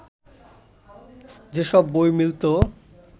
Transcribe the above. যেসব বই মিলত